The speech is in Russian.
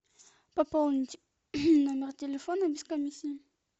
пополнить номер телефона без комиссии